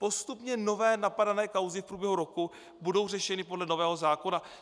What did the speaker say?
Postupně nové napadané kauzy v průběhu roku budou řešeny podle nového zákona.